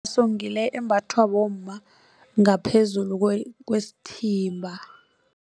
So ngile embathwa bomma ngaphezulu kwesithimba.